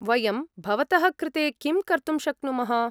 वयं भवतः कृते किं कर्तुं शक्नुमः?